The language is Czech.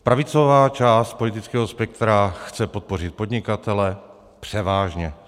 Pravicová část politického spektra chce podpořit podnikatele - převážně.